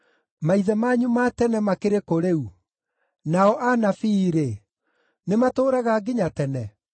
Maithe manyu ma tene makĩrĩ kũ rĩu? Nao anabii-rĩ, nĩmatũũraga nginya tene?